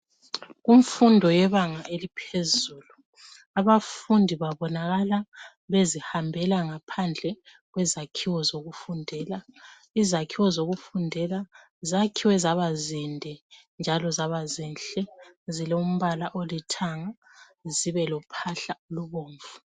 Kumfundo yebanga eliphezulu, abafundi babonakala bezihambela ngaphandle kwezakhiwo zokufundela. Izakhiwo zokufundela zakhiwe zaba zinde njalo zaba zinhle. Zilombala olithanga, zibe lophahla olubomvu.